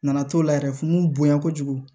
Nana t'o la yɛrɛ fu bonya kojugu